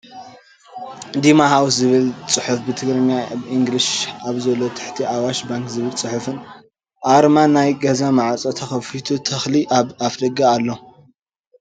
ዲማ ሃዉስ ዝብል ፅሑፍ ብትግርኛን ኢንግሊዥን ኣሎ ኣብ ትሕቲ ኣዋሽ ባንክ ዝብል ፅሑፍን ኣርማን ናይ ግዛ ማዕፆ ተከፊቱ ተክሊ ኣብ ኣፍ ደገ ኣሎ